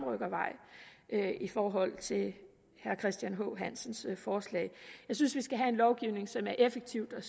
i forhold til herre christian h hansens forslag jeg synes vi skal have en lovgivning som er effektiv og